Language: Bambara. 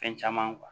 Fɛn caman